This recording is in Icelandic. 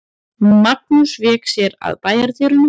Magnús vék sér að bæjardyrunum.